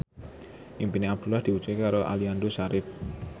impine Abdullah diwujudke karo Aliando Syarif